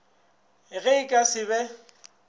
ge e ka se be